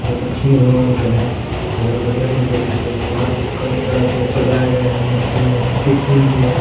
लक्ष्मी भगवान के हैं इधर बजरंगबली के है यहां पर कई प्रकार के सजाए गए हैं मूर्ति में त्रिशूल भी हैं।